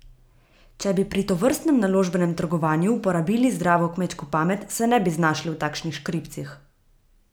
Če bi pri tovrstnem naložbenem trgovanju uporabili zdravo kmečko pamet, se ne bi znašli v takšnih škripcih.